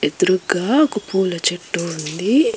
ఎదురుగ్గా ఒక పూల చెట్టు ఉంది.